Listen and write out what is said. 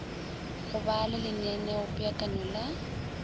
go ba le lenaneopeakanyo la